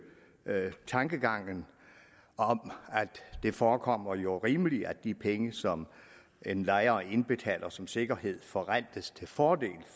tankegangen og det forekommer jo rimeligt at de penge som en lejer indbetaler som sikkerhed forrentes til fordel